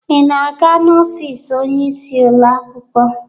Ị na-aga n'ofiisi oyeisi ụlọ akwụkwọ?